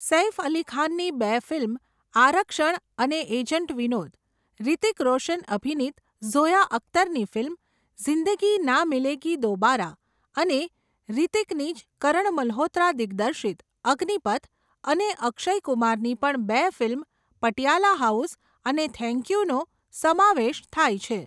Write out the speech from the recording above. સૈફ અલીખાનની બે ફિલ્મ આરક્ષણ અને એજન્ટ વિનોદ, હ્રીતિક રોશન અભિનીત ઝોયા અખ્તરની ફિલ્મ, ઝીંદગી ના મિલે દોબારા અને હ્રીતીકની જ કરણ મલ્હોત્રા દિગ્દીર્ષિત, અગ્નિપથ અને અક્ષય કુમાર ની પણ બે ફિલ્મ પટિયાલા હોઉસ અને થેન્ક યુ નો સમાવેશ થાય છે.